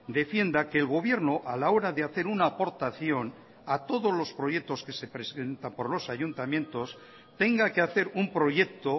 defienda que el gobierno a la hora de hacer una aportación a todos los proyectos que se presentan por los ayuntamientos tenga que hacer un proyecto